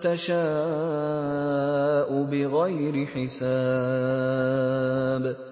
تَشَاءُ بِغَيْرِ حِسَابٍ